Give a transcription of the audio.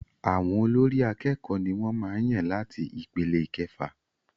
Àwọn olórí àkẹ́kọ̀ọ ní wọ́n màá n yàn láti ipele ìkẹfà.